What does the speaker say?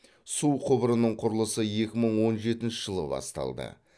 су құбырының құрылысы екі мың он жетінші жылы басталды